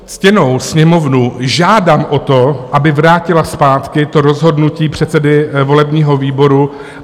Ctěnou Sněmovnu žádám o to, aby vrátila zpátky to rozhodnutí předsedy volebního výboru.